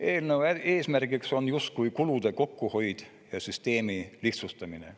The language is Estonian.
Eelnõu eesmärk on justkui kulude kokkuhoid ja süsteemi lihtsustamine.